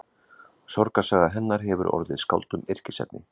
Sorgarsaga hennar hefur orðið skáldum yrkisefni.